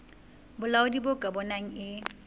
bolaodi bo ka bonang e